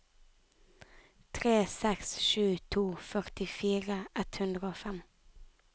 tre seks sju to førtifire ett hundre og fem